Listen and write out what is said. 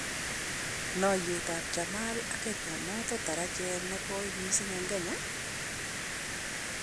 Noyet ab Jammal ak Kenya noton tarachet negoi mising' en kenya?